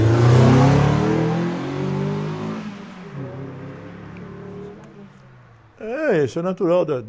né? Moramos lá.ossa deve ter sido... Muitos, muitos irmãos devem ter feito bastante bagunça., isso é natural da...